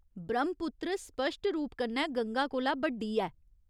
ब्रह्मपुत्र स्पश्ट रूप कन्नै गंगा कोला बड्डी ऐ।